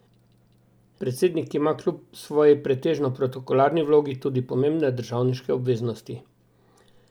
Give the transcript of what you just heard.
Predsednik ima kljub svoji pretežno protokolarni vlogi tudi pomembne državniške obveznosti.